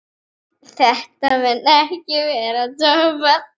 Þetta mun ekki verða toppað.